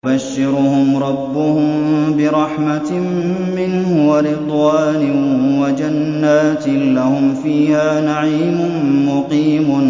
يُبَشِّرُهُمْ رَبُّهُم بِرَحْمَةٍ مِّنْهُ وَرِضْوَانٍ وَجَنَّاتٍ لَّهُمْ فِيهَا نَعِيمٌ مُّقِيمٌ